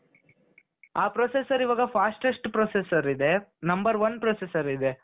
ಆ processor ಈವಾಗ fastest processor ಇದೆ. Number one processor ಇದೆ.